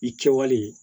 I kɛwale